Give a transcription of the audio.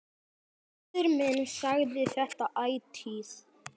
Faðir minn sagði þetta ætíð.